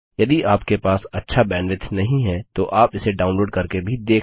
यदि आपके पास अच्छा बैन्ड्विड्थ नहीं है तो आप इसे डाउनलोड़ करके भी देख सकते हैं